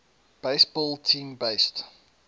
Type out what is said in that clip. baseball team based